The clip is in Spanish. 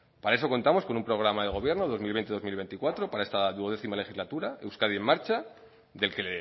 para eso contamos con un programa de gobierno dos mil dos mil veinticuatro para esta doce legislatura euskadi en marcha del que